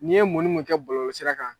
N'i ye munnu munnu kɛ bɔlɔlɔ sira kan.